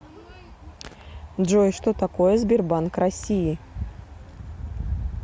джой что такое сбербанк россии